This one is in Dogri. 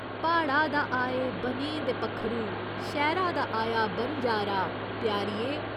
प्हाड़ा दा आए बनें दे पक्खरू शैह्‌रा दा आया बनजारा, प्यारिये।